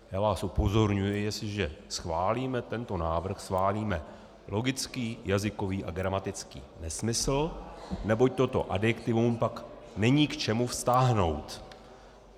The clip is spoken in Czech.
Já vás upozorňuji, jestliže schválíme tento návrh, schválíme logický jazykový a gramatický nesmysl, neboť toto adjektivum pak není k čemu vztáhnout.